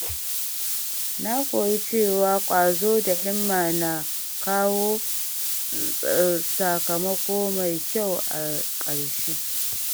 Na koyi cewa ƙwazo da himma na kawo sakamako mai kyau a ƙarshe.